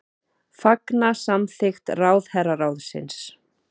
Fagna samþykkt ráðherraráðsins